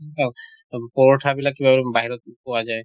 পৰঠা বিলাক কিবা অ বাহিৰত পোৱা যায়